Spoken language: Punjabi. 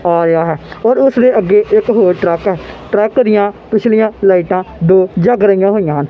ਆ ਰਿਹਾ ਐ ਔਰ ਉਸ ਦੇ ਅੱਗੇ ਇੱਕ ਹੋਰ ਟਰੱਕ ਐ ਟਰੱਕ ਦੀਆਂ ਪਿਛਲੀਆਂ ਲਾਈਟਾਂ ਦੋ ਜਗ ਰਹੀਆਂ ਹੋਈਆਂ ਹਨ।